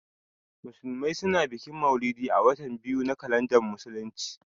Musulmai su na bikin mauludi a watan biyu na kalandar musulunci